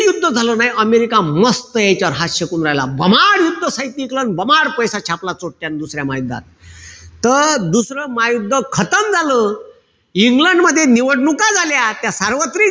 युद्ध झालं नाई. अमेरिका मस्त याच्यावर हात शेकू राहिला. आणि पैसा छापला चोट्यान दुसऱ्या महायुद्धात. त दुसरं महायुद्ध झालं. इंग्लंडमध्ये निवडणूक झाल्या. त्या सार्वत्रिक,